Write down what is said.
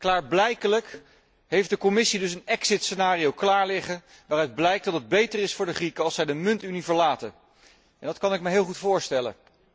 Klaarblijkelijk heeft de Commissie dus een exit scenario klaarliggen waaruit blijkt dat het beter is voor de Grieken als zij de muntunie verlaten en dat kan ik me heel goed voorstellen.